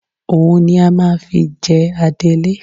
Òun ni a máa fi jẹ adelé